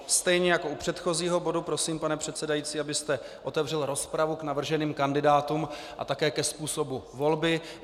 Stejně jako u předchozího bodu prosím, pane předsedající, abyste otevřel rozpravu k navrženým kandidátům a také ke způsobu volby.